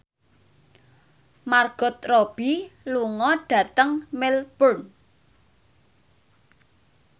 Margot Robbie lunga dhateng Melbourne